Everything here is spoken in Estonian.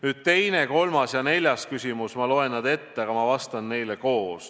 Nüüd teine, kolmas ja neljas küsimus – ma loen need korraga ette ja ka vastan neile koos.